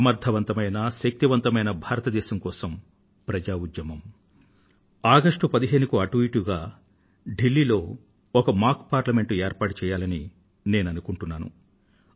సమర్థవంతమైన శక్తివంతమైన భారతదేశం కోసం ప్రజా ఉద్యమం ఆగష్టు పదిహేనుకి దగ్గర దగ్గర ఢిల్లీ లో ఒక మాక్ పార్లమెంట్ ఏర్పాటు చేయాలని నేను అనుకుంటున్నాను